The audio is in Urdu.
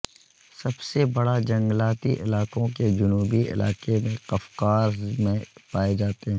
سب سے بڑا جنگلاتی علاقوں کے جنوبی علاقے میں قفقاز میں پائے جاتے ہیں